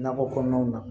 Nakɔ kɔnɔnaw na